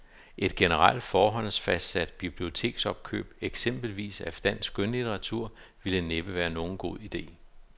Et generelt, forhåndsfastsat biblioteksopkøb, eksempelvis af dansk skønlitteratur, ville næppe være nogen god ide.